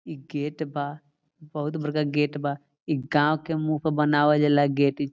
इ गेट बा बहुत बड़का गेट बा इ गांव के मुँह पे बनावल जाला इ गेट --